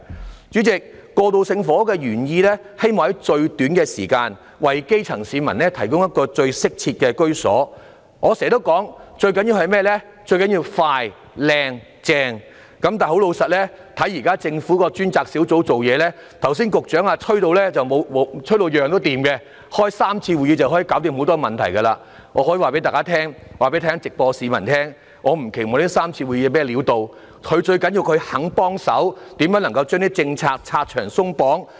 代理主席，過渡性房屋的原意是希望在最短時間，為基層市民提供最適切的居所，我常說最重要的是"快、靚、正"，但老實說，看到現時政府的過渡性房屋專責小組辦事，局長剛才更吹噓事事皆通，只需進行3次會議便可解決許多問題，我可以在目前會議直播中跟市民說，我並不期望這3次會議有何效用，最重要的是政府願意幫忙，研究怎樣能把政策拆牆鬆綁。